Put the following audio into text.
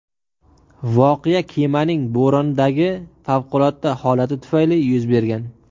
Voqea kemaning bo‘rondagi favqulodda holati tufayli yuz bergan.